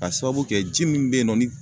K'a sababu kɛ ji min be ye nɔ ni